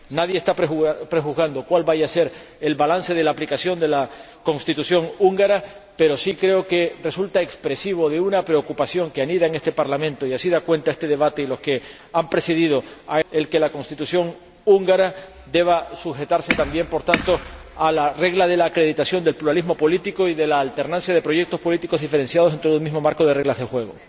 Nadie está prejuzgando cuál vaya a ser el balance de la aplicación de la Constitución húngara, pero sí creo que resulta expresivo de una preocupación que anida en este Parlamento —y así da cuenta este debate y los que lo han precedido— el que la Constitución húngara deba sujetarse también, por tanto, a la regla de la acreditación del pluralismo político y de la alternancia de proyectos políticos diferenciados dentro de un mismo marco de reglas de juego.